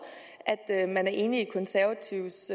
at man er enig i de konservatives